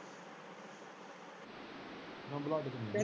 ਹਾਂ ਬਲਾਡੇ ਤੋਂ ਮਿਲਜੂ।